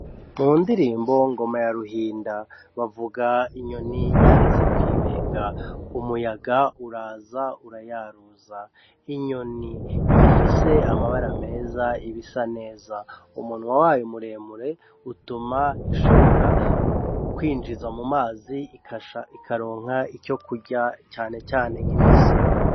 Mu ndirimbo ngoma ya ruhinda bavuga inyoni yaritse kw'ibenga umuyaga uraza urayaruza, inyoni iyo ifise amabara meza iba isa neza, umunwa wayo muremure utuma ishobora kwinjiza mu mazi ikaronka ico kurya cane cane nk'imisiba.